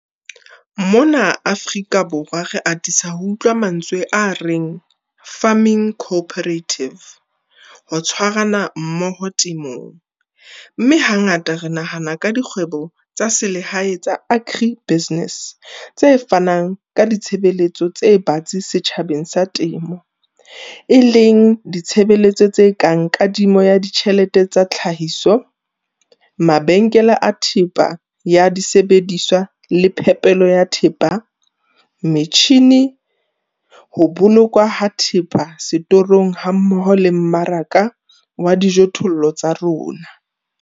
Mona Afrika Borwa re atisa ho utlwa mantswe a reng farming co-operative, ho tshwarana mmoho temong, mme hangata re nahana ka dikgwebo tsa selehae tsa agri-businesse tse fanang ka ditshebeletso tse batsi setjhabeng sa temo, e leng ditshebeletso tse kang kadimo ya ditjhelete tsa tlhahiso, mabenkele a thepa ya disebediswa le phepelo ya thepa, metjhine, ho bolokwa ha thepa setorong hammoho le mmaraka wa dijothollo tsa rona.